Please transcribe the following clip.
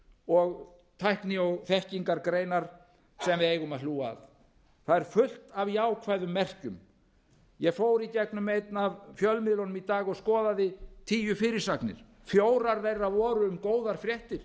og tækni og þekkingargreinar sem við eigum að hlúa að það er fullt af jákvæðum merkjum ég fór í gegnum einn af fjölmiðlunum í dag og skoðaði tíu fyrirsagnir fjórar þeirra voru um góðar fréttir